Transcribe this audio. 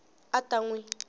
a a ta n wi